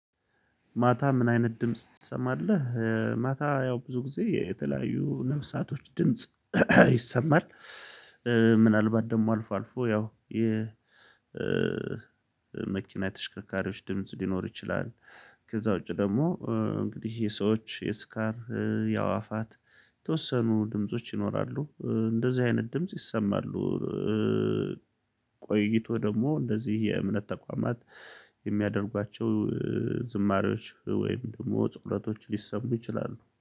ማታ ምን አይነት ድምጽ ትሰማለህ? ማታ ያው ብዙ ጊዜ የተለያዩ ነፍሳቶች ድምጽ ይሰማል። ምናልባት ደግሞ አልፎ አልፎ ያው የ መኪና የተሽከርካሪዎች ድምጽ ሊኖር ይችላል። ከዛ ውጪ ደግሞ እንግዲህ የሰዎች የስካር ያዋፋት የተወሰኑ ድምጾች ይኖራሉ እንደዚህ አይነት ድምጽ ይሰማሉ። ቆይቶ ደግሞ እንደዚህ የእምነት ተቋማት የሚያደርጓቸው ዝማሬዎች ወይም ደግሞ ፀሎቶች ሊሰሙ ይችላሉ